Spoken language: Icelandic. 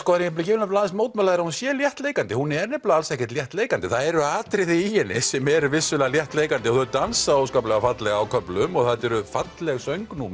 vil aðeins mótmæla þér að hún sé léttleikandi hún er nefnilega alls ekki léttleikandi það eru atriði í henni sem eru vissulega léttleikandi og þau dansa óskaplega fallega á köflum og þetta eru falleg